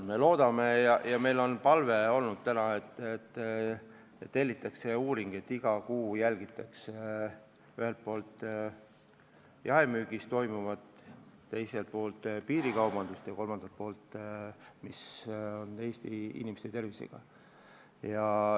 Me oleme palunud, et tellitaks uuring, mille käigus iga kuu jälgitakse ühelt poolt jaemüügis toimuvat, teiselt poolt piirikaubandust ja kolmandalt poolt, kuidas on lood Eesti inimeste tervisega.